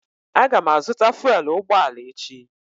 Aga m azụta fụèl ụgbọala echi